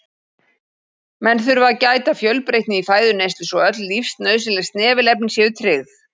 Menn þurfa að gæta fjölbreytni í fæðuneyslu svo öll lífsnauðsynleg snefilefni séu tryggð.